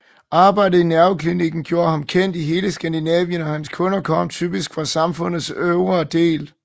Arbejdet i nerveklinikken gjorde ham kendt over hele Skandinavien og hans kunder kom typisk fra samfundets øvre del